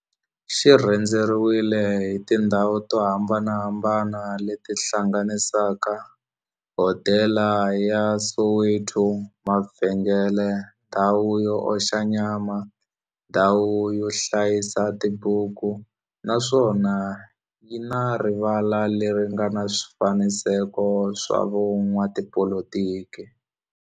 xi rhendzeriwile hi tindhawu to hambanahambana le ti hlanganisaka, hodela ya Soweto, mavhengele, ndhawu yo oxa nyama, ndhawu yo hlayisa tibuku, naswona yi na rivala le ri nga na swifanekiso swa vo n'watipolitiki.